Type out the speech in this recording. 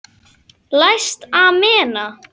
Læst amena.